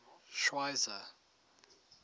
schweizer